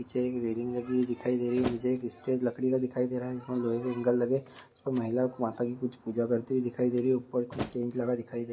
पीछे एक रैलिंग लगी हुई दिखाई दे रही है। नीचे एक स्टेज लकड़ी की दिखाई दे रहा है। जिसमें लोहे के ईगंल लगे। इसमे महिला माता की कुछ पूजा करते हुए दिखाई दे रही है और ऊपर कुछ स्टेज लगा दिखाई दे --